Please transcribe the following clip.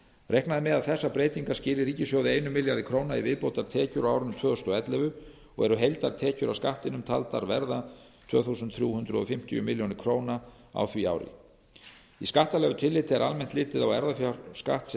reiknað er með að þessar breytingar skili ríkissjóði einum milljarði króna í viðbótartekjur á árinu tvö þúsund og ellefu og eru heildartekjur af skattinum taldar verða tvö þúsund þrjú hundruð fimmtíu milljónir króna á því ári í skattalegu tilliti er almennt litið á erfðafjárskatt sem